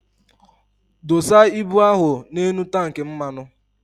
Dosa ibụ ahụ na enu tank mmanu!